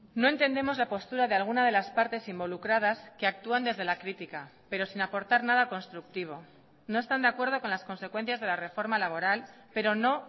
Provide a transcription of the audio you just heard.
no entendemos la postura de alguna de las partes involucradas que actúan desde la crítica pero sin aportar nada constructivo no están de acuerdo con las consecuencias de la reforma laboral pero no